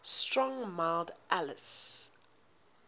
strong mild ales